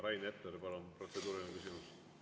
Rain Epler, palun, protseduuriline küsimus!